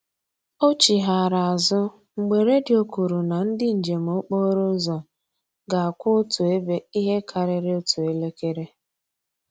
O chighara azụ mgbe redio kwuru na ndị njem okporo ụzọ ga-akwụ otu ebe ihe karịrị otu elekere